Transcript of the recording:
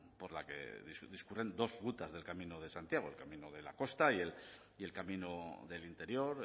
por la que discurren dos rutas del camino de santiago el camino de la costa y el camino del interior